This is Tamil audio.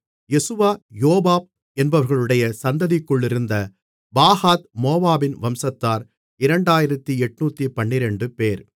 யெசுவா யோவாப் என்பவர்களுடைய சந்ததிக்குள்ளிருந்த பாகாத் மோவாபின் வம்சத்தார் 2812 பேர்